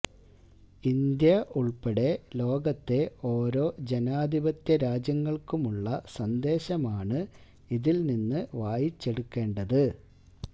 India ഉള്പ്പെടെ ലോകത്തെ ഓരോ ജനാധിപത്യ രാജ്യങ്ങള്ക്കുമുള്ള സന്ദേശമാണ് ഇതില്നിന്ന് വായിച്ചെടുക്കേണ്ടത്